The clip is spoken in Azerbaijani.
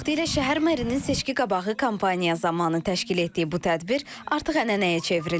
Vaxtilə şəhər merinin seçkiqabağı kampaniya zamanı təşkil etdiyi bu tədbir artıq ənənəyə çevrilib.